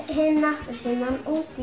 hin appelsínan út í